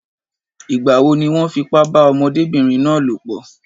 Ìgbà wo ni wọ́n fipá bá ọmọdébìnrin náà lòpọ̀?